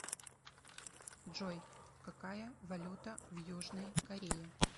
джой какая валюта в южной корее